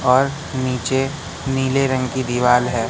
और नीचे नीले रंग की दिवाल है।